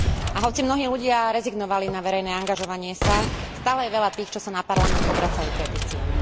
A hoci mnohí ľudia rezignovali na verejné angažovanie sa, stále je veľa tých, čo sa na Parlament obracajú petíciami.